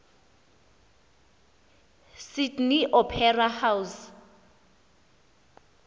sydney opera house